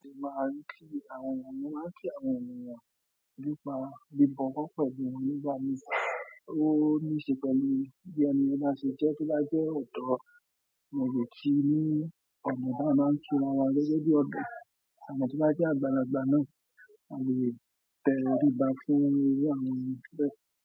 A ò lè máa rí kí àwọn ènìyàn, mo máa kí àwọn ènìyàn nípa bíbọ̀ wo pẹ̀lú, won ní gbá mi, ó níṣe pẹ̀lú bí ẹni bá ṣe jẹ tó bá jẹ́ ọ̀dọ̀, mo lè kí i ní ọ̀nà tó bá máa ń kí ará wa gẹ́gẹ́ bí ọ̀tọ̀, àmo to bá jẹ́ àgbàlagbà náà, a lè tẹ̀ orí bá fún irú àwọn ènìyàn bẹ́.